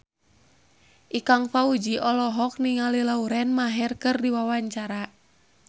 Ikang Fawzi olohok ningali Lauren Maher keur diwawancara